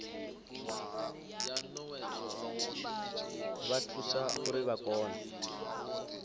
vha thusa uri vha kone